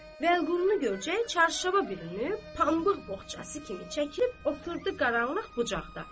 Vəliqulu görcək çarşaba bürünüb, pambıq boğçası kimi çəkilib oturdu qaranlıq bucaqda.